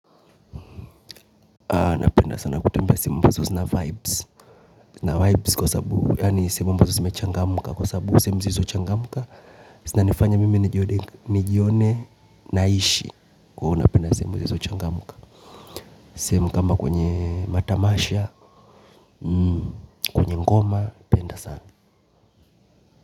Napenda sana kutumia simu ambazo sina vibes. Na vibes kwa sabu yaani simu ambazo sime changamuka kwa sabu simu zizo changamuka. Sinanifanya mimi nijione naishi. Huwa napenda simu zilizo changamka simu kama kwenye matamasha kwenye ngoma napenda sana.